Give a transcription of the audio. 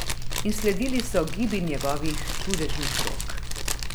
In sledili so gibi njegovih čudežnih rok.